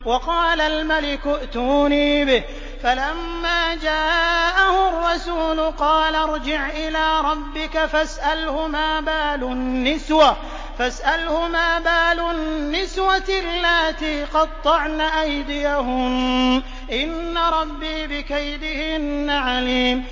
وَقَالَ الْمَلِكُ ائْتُونِي بِهِ ۖ فَلَمَّا جَاءَهُ الرَّسُولُ قَالَ ارْجِعْ إِلَىٰ رَبِّكَ فَاسْأَلْهُ مَا بَالُ النِّسْوَةِ اللَّاتِي قَطَّعْنَ أَيْدِيَهُنَّ ۚ إِنَّ رَبِّي بِكَيْدِهِنَّ عَلِيمٌ